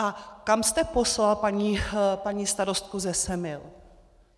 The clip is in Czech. A kam jste poslal paní starostku ze Semil?